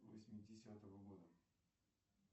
восьмидесятого года